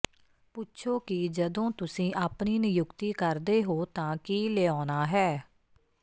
ਪੁੱਛੋ ਕਿ ਜਦੋਂ ਤੁਸੀਂ ਆਪਣੀ ਨਿਯੁਕਤੀ ਕਰਦੇ ਹੋ ਤਾਂ ਕੀ ਲਿਆਉਣਾ ਹੈ